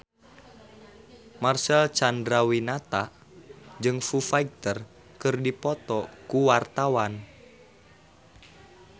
Marcel Chandrawinata jeung Foo Fighter keur dipoto ku wartawan